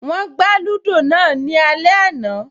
Wọ́n lúdò náà ní alẹ́ àná